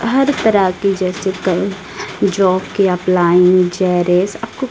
हर तरह की जैसे कई जॉब की अप्लाइंग आपको--